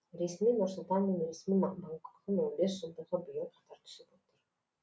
ресми нұр сұлтан мен ресми бангкоктың он бес жылдығы биыл қатар түсіп отыр